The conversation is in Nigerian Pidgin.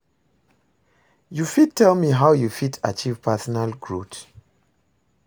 You fit tell me how you fit achieve personal growth?